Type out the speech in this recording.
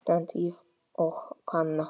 stend ég og kanna.